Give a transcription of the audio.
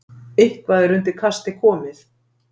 Eitthvað er undir kasti komið